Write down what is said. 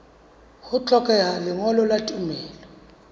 ho hlokeha lengolo la tumello